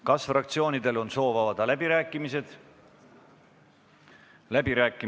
Kas fraktsioonidel on soovi pidada läbirääkimisi?